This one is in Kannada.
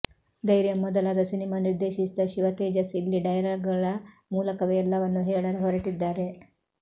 ಧೈರ್ಯಂ ಮೊದಲಾದ ಸಿನಿಮಾ ನಿರ್ದೇಶಿಸಿದ ಶಿವ ತೇಜಸ್ ಇಲ್ಲಿ ಡೈಲಾಗ್ಗಳ ಮೂಲಕವೇ ಎಲ್ಲವನ್ನೂ ಹೇಳಲು ಹೊರಟಿದ್ದಾರೆ